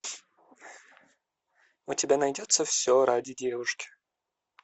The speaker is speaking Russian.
у тебя найдется все ради девушки